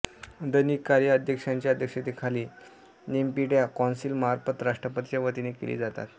दैनिक कार्ये अध्यक्षांच्या अध्यक्षतेखाली नेप्यिडॉ कौन्सिलमार्फत राष्ट्रपतींच्या वतीने केली जातात